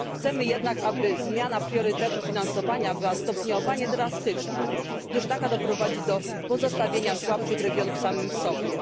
Chcemy jednak, aby zmiana priorytetu finansowania była stopniowa, a nie drastyczna, gdyż taka doprowadzi do pozostawienia słabszych regionów samym sobie.